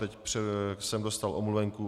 Teď jsem dostal omluvenku.